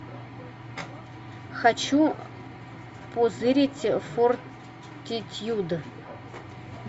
хочу позырить фортитьюд